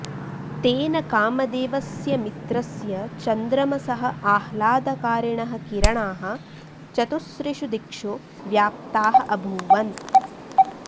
तेन कामदेवस्य मित्रस्य चन्द्रमसः आह्लादकारिणः किरणाः चतुसॄषु दिक्षु व्याप्ताः अभूवन्